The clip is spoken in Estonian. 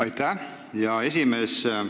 Aitäh, hea esimees!